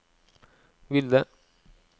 ville